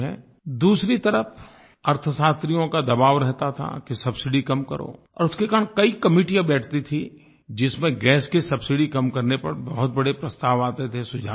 दूसरी तरफ़ अर्थशास्त्रियों का दबाव रहता था कि सबसिडी कम करो और उसके कारण कई कमेटियाँ बैठती थीं जिसमें गैस की सबसिडी कम करने पर बहुत बड़े प्रस्ताव आते थे सुझाव आते थे